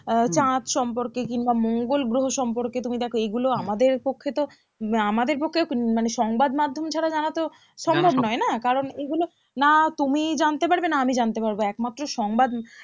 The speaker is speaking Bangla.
আহ চাঁদ সম্পর্কে কিংবা মঙ্গোল গ্রহ সম্পর্কে তুমি দেখো এগুলো আমাদের পক্ষে তো আমাদের পক্ষে মানে সংবাদ মাধ্যম ছাড়া জানা তো সম্ভব নই না কারণ এগুলো না তুমি জানতে পারবে না আমি জানতে পারবো একমাত্র সংবাদ